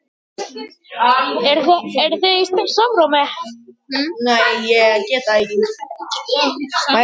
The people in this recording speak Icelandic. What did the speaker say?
Viltu spá í leikina?